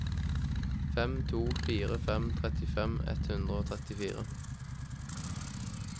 fem to fire fem trettifem ett hundre og trettifire